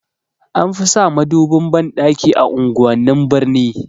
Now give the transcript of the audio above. Anfi sa madubin banɗaki a unguwannin birni